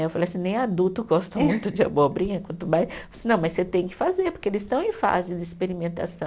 Aí eu falo assim, nem adulto gosta muito de abobrinha, quanto mais. Não, mas você tem que fazer, porque eles estão em fase de experimentação.